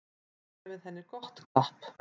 Gefið henni gott klapp.